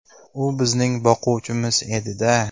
U bizning boquvchimiz edi-da.